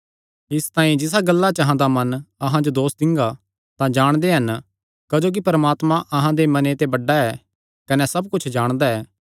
इसतांई जिसा गल्ला च अहां दा मन अहां जो दोस दिंगा तां जाणदे हन क्जोकि परमात्मा अहां दे मने ते बड्डा ऐ कने सब कुच्छ जाणदा ऐ